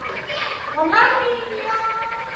Hún hafði sofnað alveg óvart úti á svölum.